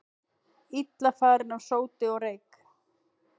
Illa farin af sóti og reyk